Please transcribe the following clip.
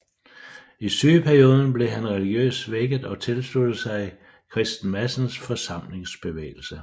I sygeperioden blev han religiøst vækket og tilsluttede sig Christen Madsens forsamlingsbevægelse